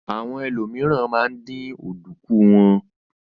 Àwọn ènìyàn míìràn ma ń dín ọ̀dùnkún wọn.